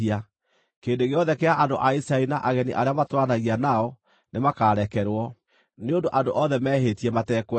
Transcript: Kĩrĩndĩ gĩothe kĩa andũ a Isiraeli na ageni arĩa matũũranagia nao nĩmakarekerwo, nĩ ũndũ andũ othe mehĩtie matekwenda.